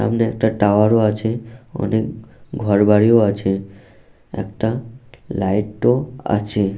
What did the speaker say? সামনে একটা টাওয়ার - ও আছে অনেক ঘরবাড়িও আছে একটা লাইট - ও আছে।